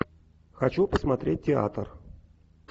хочу посмотреть театр